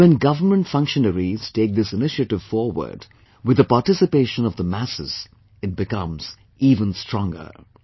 And when government functionaries take this initiative forward with the participation of the masses, it becomes even stronger